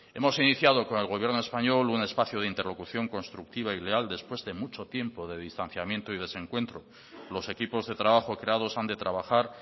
hemos iniciado con el gobierno español un espacio de interlocución constructiva y leal después de mucho tiempo de distanciamiento y desencuentro los equipos de trabajo creados han de trabajar